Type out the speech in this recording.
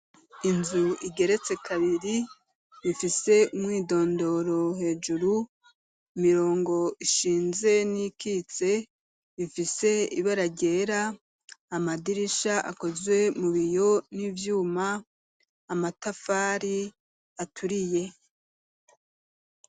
Inzu igeretse kabiri ifise umwidondoro hejuru, imirongo ishinze n'iyikitse ifise ibara ryera, amadirisha akozwe mu biyo n'ivyuma, amatafari aturiye.